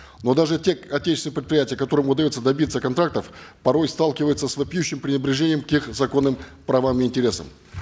но даже те отечественные предприятия которым удается добиться контрактов порой сталкиваются с вопиющим пренебрежением к их законным правам и интересам